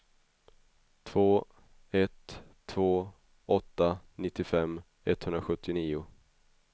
två ett två åtta nittiofem etthundrasjuttionio